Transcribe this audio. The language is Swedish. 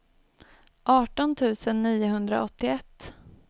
arton tusen niohundraåttioett